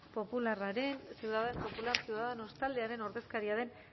popularra ciudadanos taldearen ordezkaria den